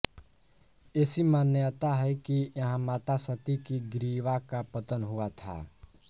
ऐसी मान्यता है कि यहाँ माता सती की ग्रीवा का पतन हुआ था